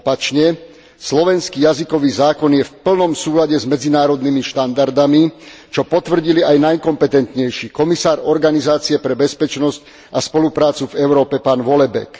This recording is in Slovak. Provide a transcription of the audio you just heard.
Naopak, slovenský jazykový zákon je v plnom súlade s medzinárodnými štandardami, čo potvrdili aj najkompetentnejší komisár Organizácie pre bezpečnosť a spoluprácu v Európe, pán Vollebæk.